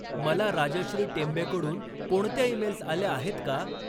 मला राजश्री टेंबेकडून कोणत्या ईमेल्स आल्या आहेत का?